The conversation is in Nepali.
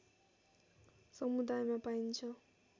समुदायमा पाइन्छ